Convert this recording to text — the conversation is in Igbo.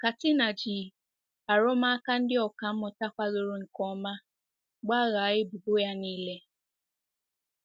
Katina ji arụmụka ndị ọkà mmụta kwadoro nke ọma gbaghaa ebubo ya nile.